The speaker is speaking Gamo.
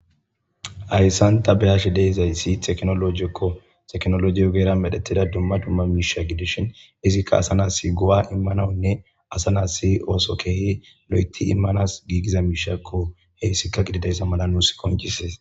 hayssan ta beyashe deizayssi teknologikko teknolojio geera medhettida dumma dumma miisha gidishin izikka asa nassi go7a immanawunne asa nas si ooso keehi lo7eti immanas giigiza miishakko heyssikka gididayssa mala nuus konchises